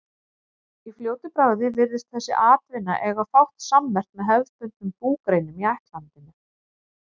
Í fljótu bragði virðist þessi atvinna eiga fátt sammerkt með hefðbundnum búgreinum í ættlandinu.